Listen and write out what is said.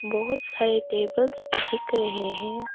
बहोत सारे टेबल्स भी दिख रहे हैं।